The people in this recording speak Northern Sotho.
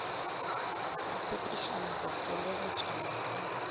ba tshepišana go fegeletšana ka